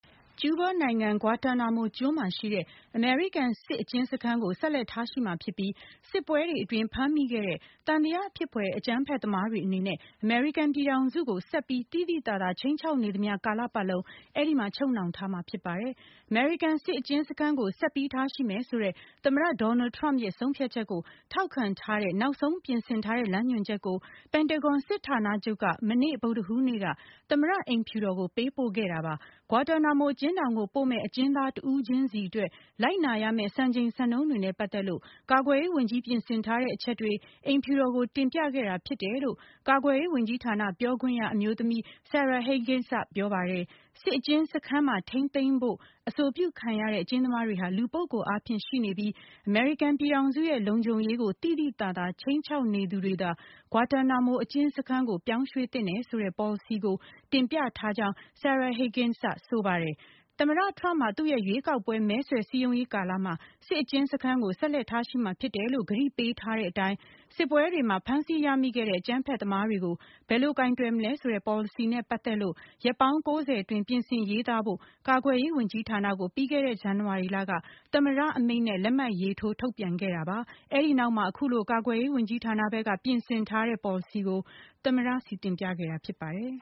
ကျူးဘားနိုင်ငံ Guantanamo ကျွန်းမှာရှိတဲ့ အမေရိကန် စစ်အကျဉ်းစခန်းကို ဆက်လက်ထားရှိမှာဖြစ်ပြီး စစ်ပွဲတွေအတွင်း ဖမ်းမိခဲ့တဲ့ သံသယဖြစ်ဖွယ် အကြမ်းဖက်သမားတွေ အနေနဲ့ အမေရိကန်ပြည်ထောင်စုကို ဆက်ပြီး သိသိသာသာခြိမ်းခြောက်နေသမျှကာလပတ်လုံး အဲဒီမှာ ချုပ်နှောင်ထားမှာဖြစ်ပါတယ်။ အမေရိကန်စစ်အကျဉ်းစခန်းကို ဆက်ပြီးထားရှိမယ်ဆိုတဲ့ သမ္မတ Donald Trump ရဲ့ ဆုံးဖြတ်ချက်ကို ထောက်ခံပြီး နောက်ဆုံးပြင်ဆင်ထားတဲ့ လမ်းညွန်ချက်ကို ပင်တဂွန်စစ်ဌာနချုပ်က မနေ့ ဗုဒ္ဓဟူးနေ့က သမ္မတအိမ်ဖြူတော်ကို ပေးပို့ခဲ့တာပါ။ ဂွာတာနာမိုအကျဉ်းထောင်ကိုပို့မယ့် အကျဉ်းသားတဦးချင်းစီအတွက် လိုက်နာရမယ့် စံချိန်စံနှုန်းတွေနဲ့ ပတ်သက်လို့ ကာကွယ်ရေးဝန်ကြီး ပြင်ဆင်ထားတဲ့အချက်တွေ အိမ်ဖြူတော်ကို တင်ပြခဲ့တာဖြစ်တယ်လို့ ကာကွယ်ရေးဝန်ကြီးဌာန ပြောခွင့်ရအမျိုးသမီး Sarah Higgins ကပြောပါတယ်။ စစ်အကျဉ်းစခန်းမှာ ထိန်းသိမ်းဖို့ အဆိုပြုခံရတဲ့ အကျဉ်းသမားတွေဟာ လူပုဂ္ဂိုလ်အားဖြင့်ရှိနေပြီး အမေရိကန်ပြည်ထောင်စုရဲ့ လုံခြုံရေးကို သိသိသာသာ ခြိမ်းခြောက်နေသူတွေသာ ဂွာတာနာမို အကျဉ်းစခန်းကို ပြောင်းရွှေ့သင့်တယ်ဆိုတဲ့ ပေါ်လစီကို တင်ပြထားကြောင်း Sarah Higgins ကဆိုပါတယ်။ သမ္မတထရမ့်ဟာ သူရဲ့ ရွေးကောက်ပွဲမဲဆွယ်စည်းရုံးရေးကာလမှာ စစ်အကျဉ်းစခန်းကို ဆက်လက်ထားရှိမှာ ဖြစ်တယ်လို့ ကတိပေးထားတဲ့အတိုင်း စစ်ပွဲတွေမှာ ဖမ်းဆီးရမိခဲ့တဲ့ အကြမ်းဖက်သမားတွေကို ဘယ်လို ကိုင်တွယ်မလဲဆိုတဲ့ ပေါ်လစီနဲ့ ပတ်သက်လို့ရက်ပေါင်း ၉၀ အတွင်း ပြင်ဆင်ရေးသားဖို့ကာကွယ်ရေးဝန်ကြီးဌာနကို ပြီးခဲ့တဲ့ဇန်နဝါရီလက သမ္မတအမိန့် နဲ့ လက်မှတ်ရေးထိုး ထုတ်ပြန်ခဲ့တာပါ။ အဲဒီနောက်မှာ အခုလို ကာကွယ်ရေးဝန်ကြီးဌာနဘက်က ပြင်ဆင်ထားတဲ့ ပေါ်လစီကို သမ္မတဆီတင်ပြခဲ့တာဖြစ်ပါတယ်